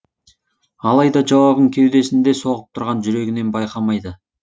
алайда жауабын кеудесінде соғып тұрған жүрегінен байқамайды